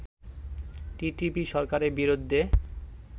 TTP সরকারের বিরুদ্ধে